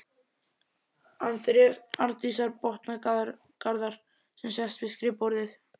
Arndísar, botnar Garðar sem sest við skrifborðið.